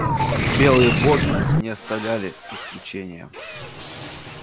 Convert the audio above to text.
белые боги не оставляли исключения